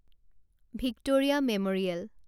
Victoria memorial